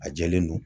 A jɛlen don